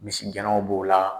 Misigɛnnaw b'o la.